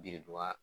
Biriduga